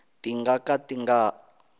ti nga ka ti nga